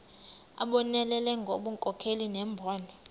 abonelele ngobunkokheli nembono